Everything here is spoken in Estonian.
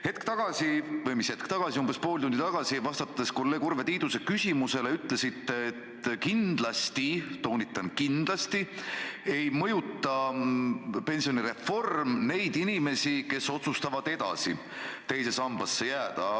Hetk tagasi – või mis hetk tagasi, umbes pool tundi tagasi –, vastates kolleeg Urve Tiiduse küsimusele, ütlesite, et kindlasti – toonitan: kindlasti – ei mõjuta pensionireform neid inimesi, kes otsustavad edasi teise sambasse jääda.